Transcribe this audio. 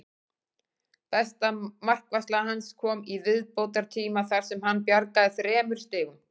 Besta markvarsla hans kom í viðbótartíma þar sem hann bjargaði þremur stigum.